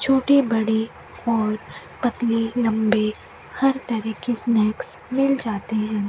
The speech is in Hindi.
छोटी बड़ी और पतली लम्बी हर तरह के स्नैक्स मिल जाते है।